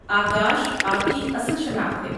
آکاش آپ کی اصل شناخت ہے۔